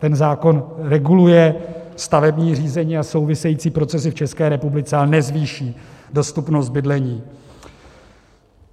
Ten zákon reguluje stavební řízení a související procesy v České republice, ale nezvýší dostupnost bydlení.